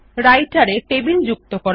রাইটের এ টেবিল যুক্ত করা